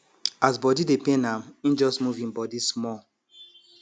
as body dey pain am im just move im body small